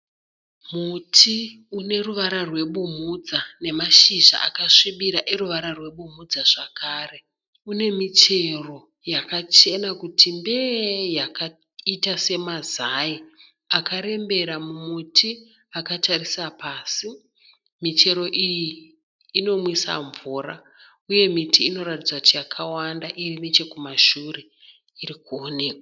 Muti une ruvara rwebumhudza nemashiza akasvibira eruvara rwebumhudza zvakare. Une michero yachena kuti mbee yakaita semazai akarembera mumuti akatarisa pasi. Michero iyi inomwisa mvura. Michero iyi inonwisa mvura, uye miti inoratidza kuti yakawanda iri nechekumashure iri kuoneka.